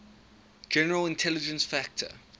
general intelligence factor